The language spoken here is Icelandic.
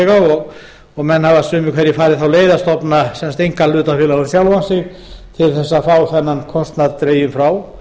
launþega og menn hafa sumir farið þá leið að stofna einkahlutafélag á sjálfan sig til að fá kostnaðinn dreginn frá